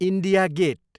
India get